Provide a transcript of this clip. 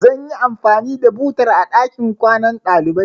Zan yi anfani da butar a ɗakin kwanan ɗaliban.